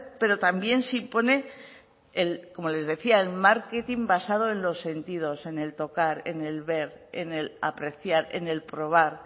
pero también se impone como les decía el marketing basado en los sentidos en el tocar en el ver en el apreciar en el probar